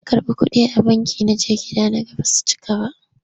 Na karɓi kuɗi a banki na je gida na ga ba su cika ba.